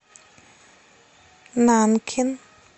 нанкин